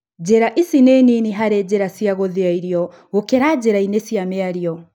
Njĩra ici nĩ nini harĩ njira cia gũthĩa irio gũkĩra njĩra-inĩ cia mĩario